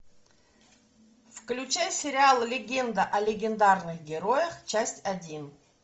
включай сериал легенда о легендарных героях часть один